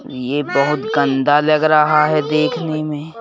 यह बहुत गंदा लग रहा है देखने में।